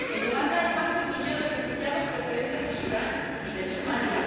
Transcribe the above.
En Uganda hay más de un millón de refugiados procedentes de Sudán y de Somalia.